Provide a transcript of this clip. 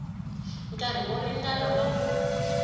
nkarhi wo ringana wa ku